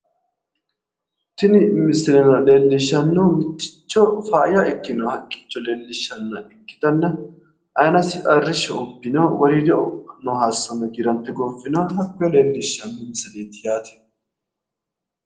Tini misilera leellishshannohu mitticho faayya ikkino haqqicho leellishshanna ikkitanna aanasi arrishsho ubbino woriidosi noo haayiiso giirante gooffinoha hakkoye leellishshanno misileeti yaate.